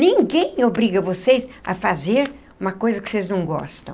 Ninguém obriga vocês a fazer uma coisa que vocês não gostam.